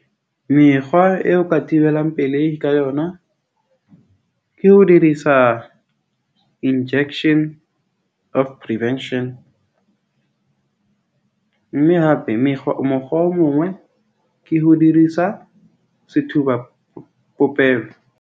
Mekgwa eo ka thibelang pelehi ka yona ke ho dirisa injection of prevention . Mme hape mekgwa, mokgwa o mongwe ke ho dirisa sethuba popelo.